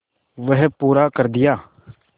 वह पूरा कर दिया